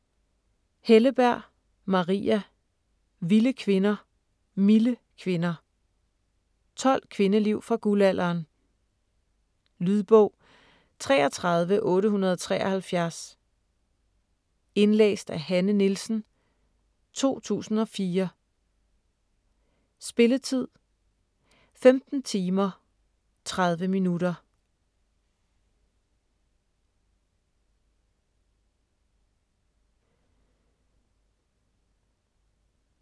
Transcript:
Helleberg, Maria: Vilde kvinder, milde kvinder 12 kvindeliv fra guldalderen. Lydbog 33873 Indlæst af Hanne Nielsen, 2004. Spilletid: 15 timer, 30 minutter.